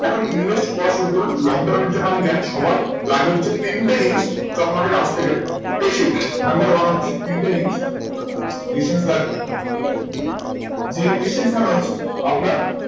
এখন invest করা শুরু করুন long term এর জন্য আমি জানি সবার লাগে হচ্ছে তিনটে জিনিস stock market এ আসতে গেলে patience number one হচ্ছে তিনটে জিনিস patience লাগবে যে patience হচ্ছে আপনার